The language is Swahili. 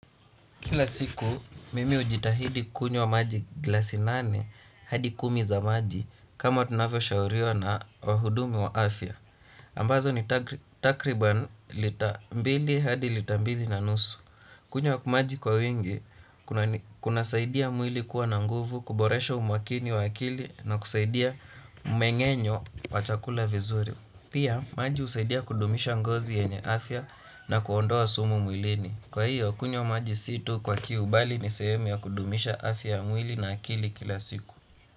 Kila siku, mimi ujitahidi kunywa maji glasinane hadi kumi za maji kama tunavyo shauriwa na wahudumu wa afya. Ambazo ni takriban lita mbili hadi lita mbili na nusu. Kunywa maji kwa wingi, kuna saidia mwili kuwa na nguvu, kuboresha umwakini wa akili na kusaidia umengenyo wachakula vizuri. Pia, maji usaidia kudumisha ngozi yenye afya na kuondoa sumu mwilini. Kwa hiyo kunywa majisitu kwa kiu bali ni sehemu ya kudumisha afya mwili na akili kila siku.